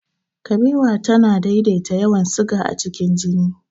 Kabewa tana daidaita yawan siga a cikin jini.